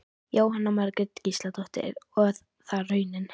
Jóhanna Margrét Gísladóttir: Og er það raunin?